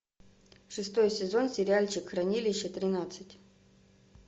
шестой сезон сериальчик хранилище тринадцать